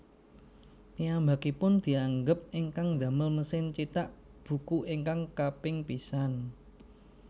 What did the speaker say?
Piyambakipun dianggep ingkang ndamel mesin cithak buku ingkang kaping pisan